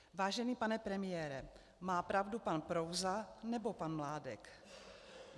Vážený pane premiére, má pravdu pan Prouza, nebo pan Mládek?